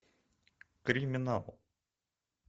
криминал